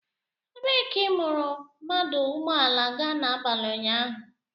Ebee ka i buru mmanụ ụgbọala gaa n'abalị ụnyaahụ?